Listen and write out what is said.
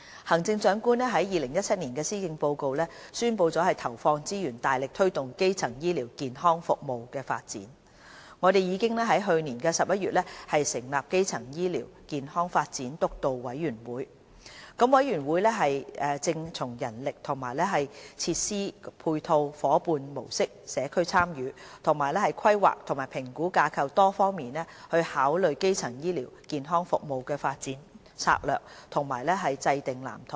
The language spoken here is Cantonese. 行政長官在2017年施政報告宣布投放資源，大力推動基層醫療健康服務的發展，我們已在去年11月成立基層醫療健康發展督導委員會，督導委員會正從人力和設施配套、夥伴模式、社區參與，以及規劃及評估架構多方面考慮基層醫療健康服務的發展策略和制訂藍圖。